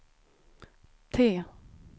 T